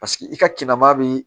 Paseke i ka kinnama bɛ